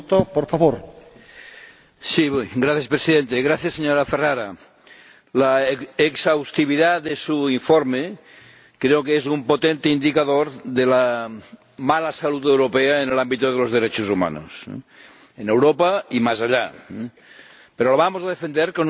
Señor Presidente, señora Ferrara, la exhaustividad de su informe creo que es un potente indicador de la mala salud europea en el ámbito de los derechos humanos ―en Europa y más allá―, pero lo vamos a defender con nuestro voto porque dice la verdad